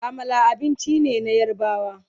Amala abinci ne na yarbawa